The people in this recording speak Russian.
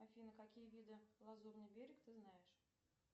афина какие виды лазурный берег ты знаешь